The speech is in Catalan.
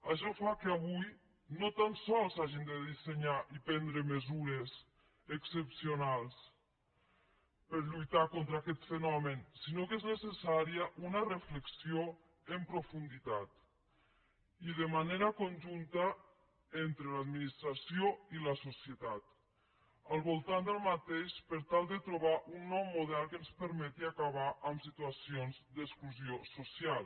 això fa que avui no tan sols s’hagin de dissenyar i prendre mesures excepcionals per lluitar contra aquest fenomen sinó que és necessària una reflexió en profunditat i de manera conjunta entre l’administració i la societat al voltant d’aquest fenomen per tal de trobar un nou model que ens permeti acabar situacions d’exclusió social